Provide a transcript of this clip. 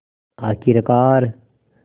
आख़िरकार